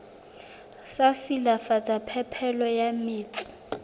sa silafatsa phepelo ya metsi